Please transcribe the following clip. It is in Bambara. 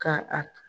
Ka a